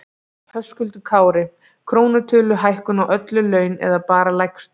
Höskuldur Kári: Krónutöluhækkun á öll laun eða bara lægstu?